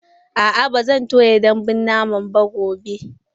A'a, ba zan toya dambun naman ba gobe.